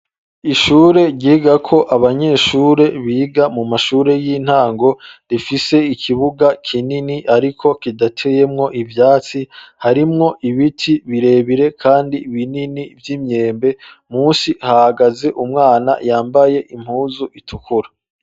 Ishure, ryigako abanyeshure, biga mu mashure y'intango, rifise ikibuga kinini, ariko kidateyemwo, iyatsi; harimwo ibiti birebire, kandi binini, vy'imyembe; munsi hagaze umwana, yambaye impuzu, itukura.